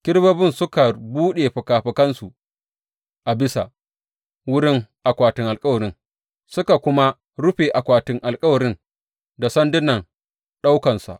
Kerubobin suka buɗe fikafikansu a bisa wurin akwatin alkawari suka kuma rufe akwatin alkawarin da sandunan ɗaukonsa.